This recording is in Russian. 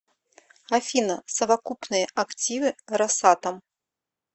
афина совокупные активы росатом